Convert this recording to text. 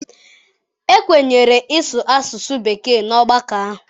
Ekwenyere ịsụ asụsụ bekee na ọgbakọ ahụ?